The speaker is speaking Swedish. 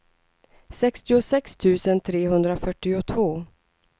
sextiosex tusen trehundrafyrtiotvå